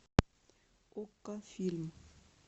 окко фильм